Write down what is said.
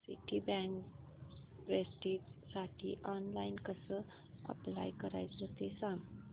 Citibank प्रेस्टिजसाठी online कसं apply करायचं ते सांग